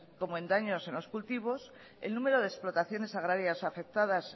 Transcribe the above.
como en daños en los cultivos el número de explotaciones agrarias afectadas